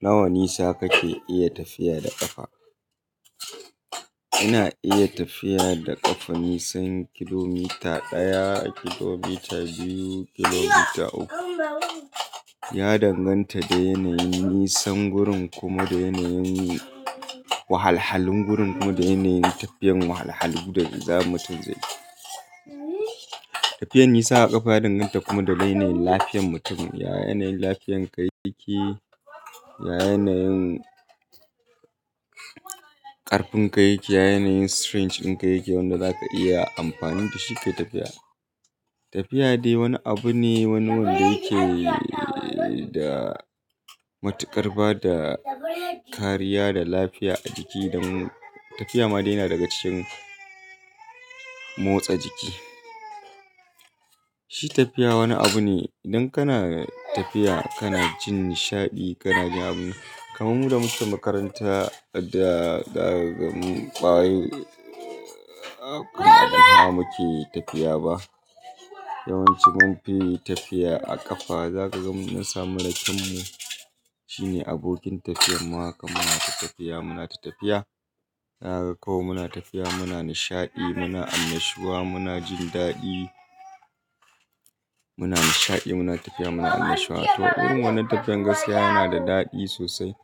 Nawa nisa kake iya tafiya da ƙafa? Ina iya tafiya da ƙafa nisan kilomita ɗaya, kilomita biyu, kilomita uku. Ya danganta da yanayin nisan gurin, kuma da yanayin wahalhalun gurin, kuma da yanayin tafiyar wahalhalun da mi za mutun zai yi. Tafiyar nisa a ƙafa danganta kuma daga yanayin lafiyar mutum. Ya yanayin lafiyar ka yake, ya yanayin ƙarfin kaiƙi, ya yanayin strength ɗin kaiƙi wanda zaka iya amfani da shi ka yi tafiya. Tafiya dai wani abu ne, wani wanda yake da matuƙar bada kariya da lafiya a jiki don tafiya ma dai na daga cikin motsa jiki. Shi tafiya wani abu ne, idan kana tafiya kana jin nishaɗi, kana jin abu. Kamun mu da muke makaranta da ɗaga mun ƙwaye, abu kan abun hawa muke yi tafiya ba. Yawanci mun fi tafiya a ƙafa. Zaka ga mun samu raken mu shine abokin tafiyar mu haka muna ta tafiya muna ta tafiya. Zaka ga ko muna tafiya muna nishaɗi, muna annashuwa, muna jin daɗi. Muna nishaɗi muna tafiya muna annashuwa. To irin wannan tafiyar gaskiya yana da daɗi sosai.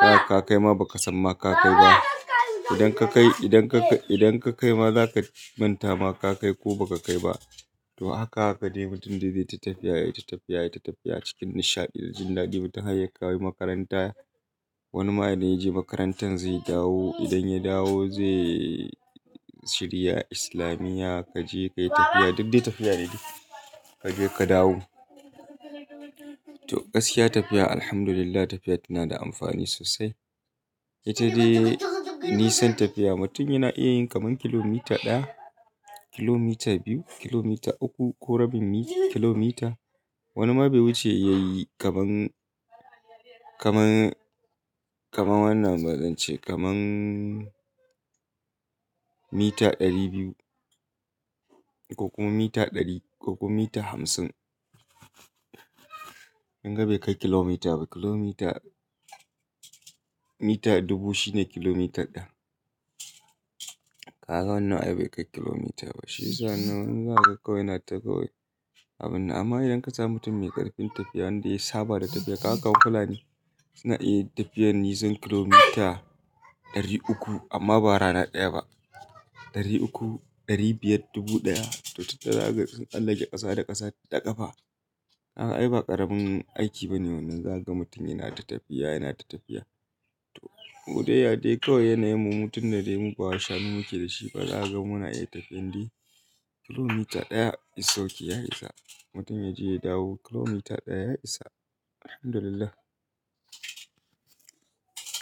Zaka kaima ba ka san ma ka kai ba. Idan ka kai, idan ka kai, idan ka kaima za ka manta ma ka kai ko ba ka kai ba. To haka haka ne mutum dai zai ta tafiya yayi ta tafiya yayi ta tafiya cikin nishaɗi da jin daɗi. Mutum har ya kai makaranta. Wani idan yaje makarantan zai dawo. Idan ya dawo zai shirya islamiya. Ka je ka yi tafiya, duk dai tafiya ne. Ka je ka dawo. To gaskiya tafiya alhamdulillah tafiya tana da amfani sosai. Ita dai nisan tafiya mutum yana iya yin kaman kilomita ɗaya, kilomita biyu, kilomita uku ko rabin kilomita. Wani ma bai wuce ya yi kaman, kaman, kaman wannan zan ce kaman mita ɗari biyu ko kuma mita ɗari ko kuma mita hamsin. Kin ga bai kai kilomita ba. Kilomita, mita dubu shine kilomita ɗaya. Kaga wannan ai bai kai kilomita ba. Shi sa inna za kaga kawai ina kawai abun nan. Amma idan ka samu mutum mai ƙarfin tafiya wanda ya saba da tafiya, kaga fulani suna iya tafiyar nisan kilomita ɗari uku amma ba rana ɗaya ba. Ɗari uku, ɗari biyar, dubu ɗaya to tunda zaka ga sun tsallake ƙasa da ƙasa da ƙafa. A ai ba ƙaramin aiki bane wannan. Zaka ga mutum yana ta tafiya yana ta tafiya. To ko dai ya dai kawai yanayin mu mu tun dai mu bawa shanu muke da shi ba za ka ga muna iya tafiyar dai kilomita ɗaya is ok ya isa. Mutum ya je ya dawo kilomita ɗaya ya isa. Alhamdulillah.